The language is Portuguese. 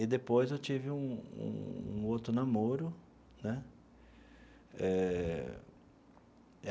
E depois eu tive um um um outro namoro, né? Eh.